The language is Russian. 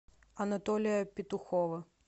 анатолия петухова